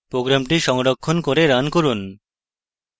program সংরক্ষণ করে run run